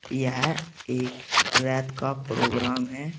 यह एक रात का प्रोग्राम है।